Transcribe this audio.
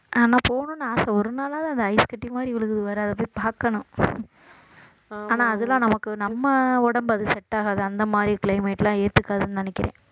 ஆனா போகணும்னு ஆசை ஒரு நாளாவது ஐஸ் கட்டி மாதிரி விழுகுது வேற அதை போய் பார்க்கணும் ஆனா அதெல்லாம் நமக்கு நம்ம உடம்பு அது set ஆகாது அந்த மாதிரி climate எல்லாம் ஏத்துக்காதுன்னு நினைக்கிறேன்